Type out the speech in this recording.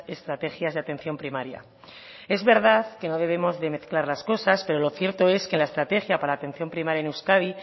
estrategias de atención primaria es verdad que no debemos de mezclar las cosas pero lo cierto es que en la estrategia para la atención primaria en euskadi